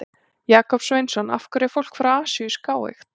Jakob Sveinsson: Af hverju er fólk frá Asíu skáeygt?